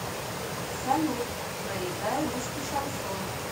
салют проиграй русский шансон